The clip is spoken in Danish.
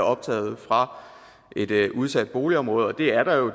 optaget fra et udsat boligområde og det er der jo